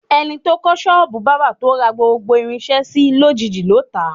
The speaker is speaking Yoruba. E̩ni tó kó̩ s̩ó̩ò̩bù bábà, tó ra gbogbo irins̩é̩ si, lójiijì ló tà á.